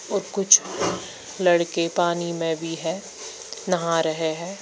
और कुछ लड़के पानी में भी है नहा रहे है।